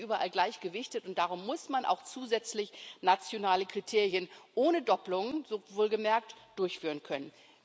Das ist nicht überall gleich gewichtet, und darum muss man auch zusätzlich nationale Kriterien ohne Dopplung wohlgemerkt durchführen können.